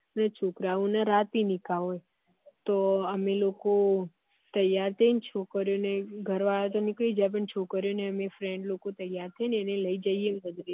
અને છોકરા ઓ ના રાતે નીકા હોય તો અમે લોકો ત્યાર થઇ ને છોકરી ઓ ને ઘર વાળા તો નીકળી જાયે પણ છોકરી ઓ ને એમની friend લોકો ત્યાર થઇ ને લઇ જઈએ